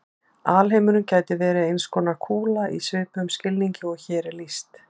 Alheimurinn gæti verið eins konar kúla í svipuðum skilningi og hér er lýst.